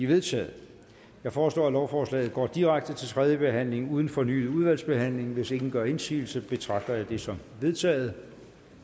vedtaget jeg foreslår at lovforslaget går direkte til tredje behandling uden fornyet udvalgsbehandling hvis ingen gør indsigelse betragter jeg det som vedtaget